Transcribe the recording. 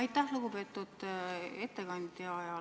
Aitäh, lugupeetud ettekandja!